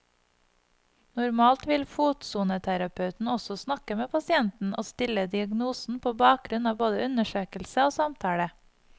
Normalt vil fotsoneterapeuten også snakke med pasienten og stille diagnosen på bakgrunn av både undersøkelse og samtale.